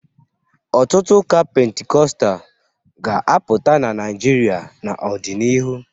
Ọtụtụ ụka Pentikọstal ga-apụta na Naijiria n'ọdịnihu